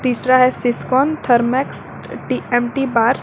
तीसरा है Siscon Thermax TMT bars.